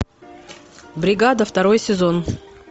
бригада второй сезон